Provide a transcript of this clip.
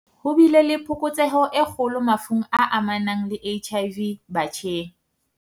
Ho bile le phokotseho e kgolo mafung a amanang le HIV batjheng.